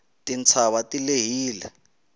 titshava ti lehile